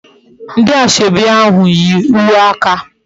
Ndi asoebi ahu yi uwe aka